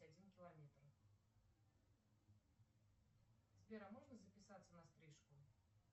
один километр сбер а можно записаться на стрижку